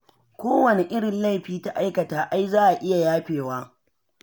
Kowane irin laifi ta aikata ai za a iya yafewa.